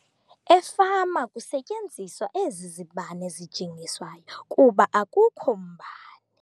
Efama kusetyenziswa ezi zibane zijingiswayo kuba akukho mbane.